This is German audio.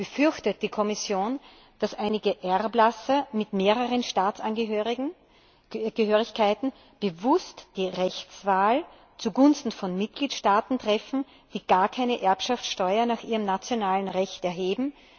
Befürchtet die Kommission, dass einige Erblasser mit mehreren Staatsangehörigkeiten bewusst die Rechtswahl zugunsten von Mitgliedstaaten treffen, die gar keine Erbschaftssteuer nach ihrem nationalen Recht erheben?